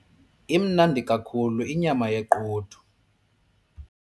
Imnandi kakhulu inyama yequdu.